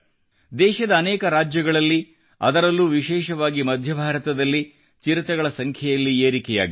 ದೇಶದ ಅನೇಕ ರಾಜ್ಯಗಳಲ್ಲಿ ಅದರಲ್ಲೂ ವಿಶೇಷವಾಗಿ ಮಧ್ಯ ಭಾರತದಲ್ಲಿ ಚಿರತೆಗಳ ಸಂಖ್ಯೆಯಲ್ಲಿ ಏರಿಕೆಯಾಗಿದೆ